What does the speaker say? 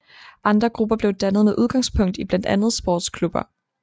Andre grupper blev dannet med udgangspunkt i blandt andet sportsklubber